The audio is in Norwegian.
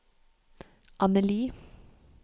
Anneli